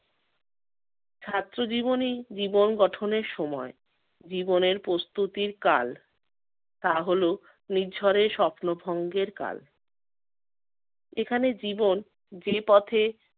ছাত্র জীবনই জীবন গঠনের সময়, জীবনের প্রস্তুতির কাল তা হল নিঝড়ের স্বপ্নভঙ্গের কাজ। যেখানে জীবন যে পথে